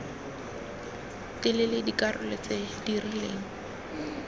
telele dikarolo tse di rileng